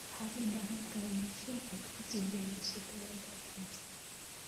Waxaad u baahan tahay mishiin aad ku tijaabiso tayada ukunta.